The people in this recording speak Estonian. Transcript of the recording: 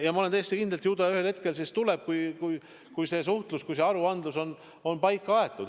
Ma olen täiesti kindel, et ju ta ühel hetkel tuleb, kui see aruandlus on paika aetud.